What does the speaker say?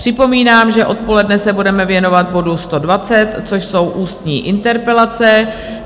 Připomínám, že odpoledne se budeme věnovat bodu 120, což jsou ústní interpelace.